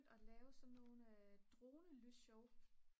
at lave sådan nogle dronelysshow